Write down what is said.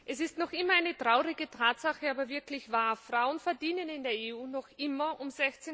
Herr Präsident! Es ist noch immer eine traurige Tatsache, aber wirklich wahr Frauen verdienen in der EU noch immer um